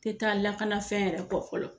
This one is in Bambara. Tɛ taa lakanafɛn yɛrɛ kɔ fɔlɔ.